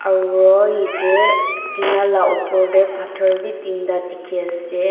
aro yatae tina la opor tae phator bi teenta dikhiase.